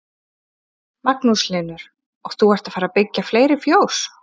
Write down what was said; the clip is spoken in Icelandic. Magnús Hlynur: Og þú ert að fara byggja fleiri fjós?